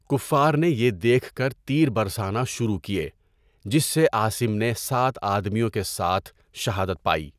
کفار نے یہ دیکھ کر تیر برسانا شروع کیے جس سے عاصم نے سات آدمیوں کے ساتھ شہادت پائی۔